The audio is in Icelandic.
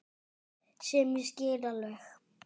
Sem ég skil alveg.